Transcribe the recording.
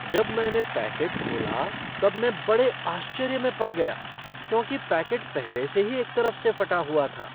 जब मैंने पैकेट खोला तब मैं बड़े आश्चर्य में पड़ गया क्योंकि पैकेट पहले से ही एक तरफ से फटा हुआ था!